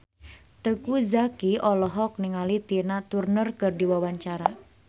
Teuku Zacky olohok ningali Tina Turner keur diwawancara